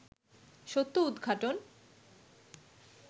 সত্য উদঘাটন